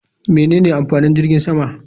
Menene amfanin jirgin sama?